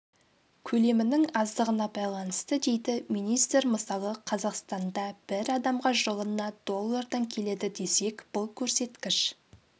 көлемінің аздығына байланысты дейді министр мысалы қазақстанда бір адамға жылына доллардан келеді десек бұл көрсеткіш